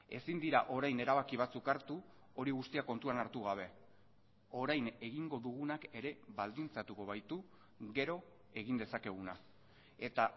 ezin dira orain erabaki batzuk hartu hori guztia kontuan hartu gabe orain egingo dugunak ere baldintzatuko baitu gero egin dezakeguna eta